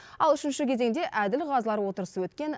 ал үшінші кезеңде әділқазылар отырысы өткен